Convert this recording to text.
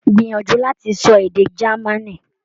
Gbìyànjú láti sọ èdè Germany.